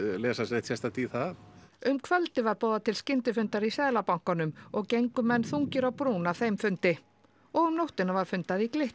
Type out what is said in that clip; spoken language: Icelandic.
neitt sérstakt í það um kvöldið var boðið til skyndifundar í Seðlabankanum og gengu menn þungir á brún af þeim fundi og um nóttina var fundað í Glitni